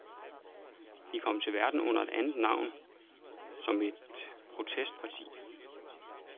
De kom til verden under et andet navn som et protestparti.